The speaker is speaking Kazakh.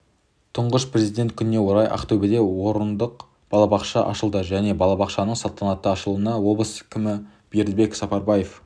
тұңғыш президент күніне орай ақтөбеде орындық балабақша ашылды жаңа балабақшаның салтанатты ашылуына облыс кімі бердібек сапарбаев